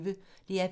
DR P1